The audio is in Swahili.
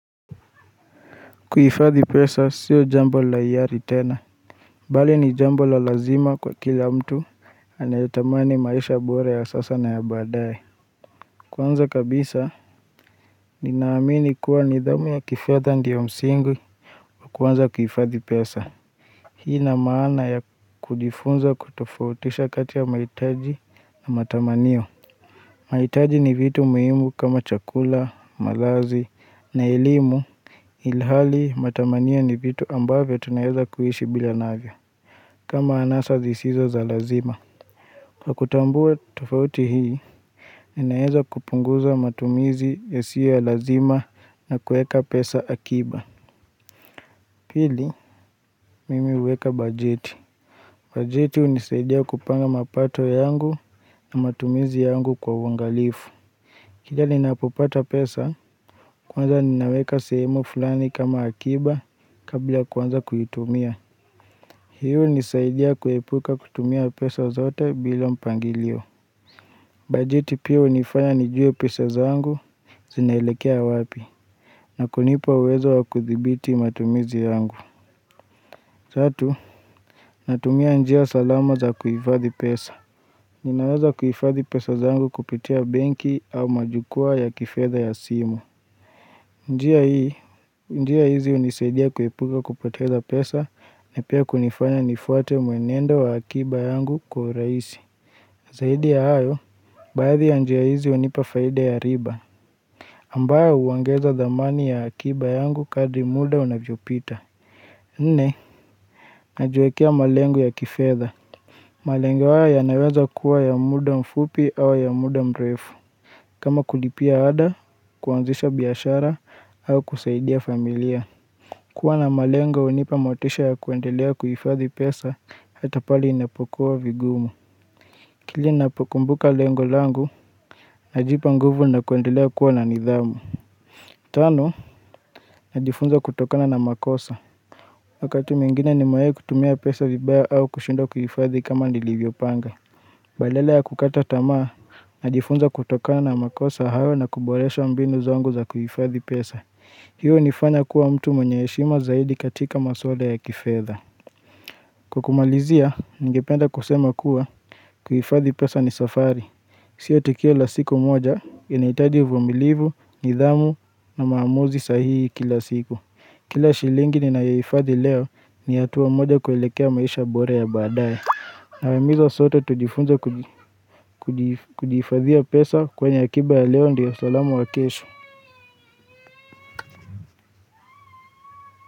Kuhifadhi pesa sio jambo la hiari tena Bali ni jambo la lazima kwa kila mtu anayetamani maisha bora ya sasa na ya baadaye Kwanza kabisa ninaamini kuwa ni dhamu ya kifedha ndio msingi wakuanza kuhifadhi pesa Hii na maana ya kujifunza kutofautisha kati ya maitaji na matamanio mahitaji ni vitu muimu kama chakula, malazi na elimu ilhali matamanio ni vitu ambavyo tunaeza kuishi bila navyo kama anasa zisizo za lazima. Kwa kutambua tofauti hii, ninaeza kupunguza matumizi yasio ya lazima na kueka pesa akiba. Pili, mimi huweka bajeti. Bajeti unisaidia kupanga mapato yangu na matumizi yangu kwa uangalifu. Kila ninapopata pesa, kwanza ninaweka seemu fulani kama akiba kabla kuanza kuitumia. Hii unisaidia kuepuka kutumia pesa zote bila mpangilio. Bajeti pia unifanya nijue pesa zangu zinaelekea wapi Nakunipa uwezo wa kudhibiti matumizi yangu. Tatu, natumia njia salama za kuifadhi pesa. Ninaweza kuifadhi pesa zangu kupitia benki au majukwa ya kifedha ya simu. Njia hii, njia hizi unisaidia kuepuka kupoteza pesa na pia kunifanya nifuate mwenendo wa akiba yangu kwa uraisi. Zaidi ya hayo, baadhi ya njia hizi unipa faida ya riba. Ambayo uongeza dhamani ya akiba yangu kadri muda unavyopita. Nne, najiwekea malengo ya kifedha. Malengo haya yanaweza kuwa ya muda mfupi au ya muda mrefu. Kama kulipia ada, kuanzisha biashara au kusaidia familia. Kuwa na malengo unipa motisha ya kuendelea kuifadhi pesa hata pale inapokuwa vigumu. Kile napokumbuka lengolangu, najipa nguvu na kuendelea kuwa na nidhamu. Tano, najifunza kutokana na makosa. Wakati mwingine nimewai kutumia pesa vibaya au kushindwa kuifadhi kama nilivyo panga. Badala ya kukata tamaa, najifunza kutokana na makosa hao na kuboresha mbinu zangu za kuifadhi pesa. Hiyo unifanya kuwa mtu mwenye heshima zaidi katika masuala ya kifedha. Kwa kumalizia, ningependa kusema kuwa kuifadhi pesa ni safari Sio tukio la siku moja inaitaji uvumilivu, nidhamu na maamuzi sahihi kila siku Kila shilingi ninayoifadhi leo ni hatua moja kuelekea maisha bora ya baadaye Nawaimiza sote tujifunze kuji kujiif kujihifadhia pesa kwenye akiba ya leo ndio salamu wakesho.